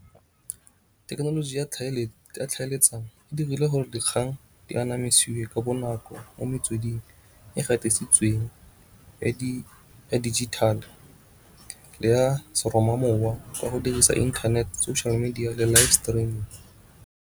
Thekenoloji ya tlhaeletsano e dirile gore dikgang di anamisiwa ka bonako mo metsweding e gatisitsweng ya digital le ya seroma mowa ka go dirisa internet, social media le live streaming.